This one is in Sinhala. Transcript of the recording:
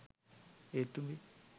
ඒත් උඹේ